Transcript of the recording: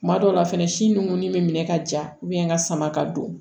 Kuma dɔw la fɛnɛ si ngoni mɛ ka ja ka sama ka don